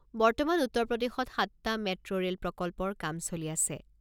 বৰ্তমান উত্তৰ প্ৰদেশত সাতটা মেট্ৰো ৰে'ল প্ৰকল্পৰ কাম চলি আছে।